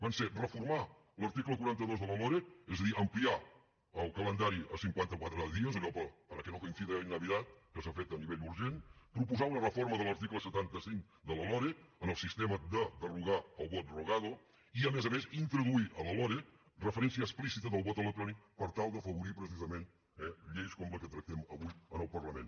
van ser reformar l’article quaranta dos de la loreg és a dir ampliar el calendari a cinquanta quatre dies allò para que no coincida en navidad que s’ha fet a nivell urgent proposar una reforma de l’article setanta cinc de la loreg en el sistema de derogar el vot rogado i a més a més introduir a la loreg referència explícita del vot electrònic per tal d’afavorir precisament lleis com la que tractament avui en el parlament